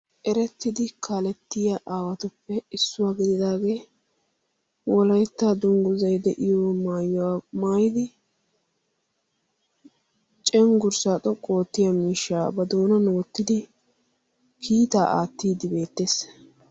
erettidi kalettiya aawatuppe issuwaa gididaagee wolaittaa dungguzai de7iyo maayyuwaa maayidi cenggurssaa xoqqu oottiya miishshaa ba doonan oottidi kiitaa aattiiddi beettees.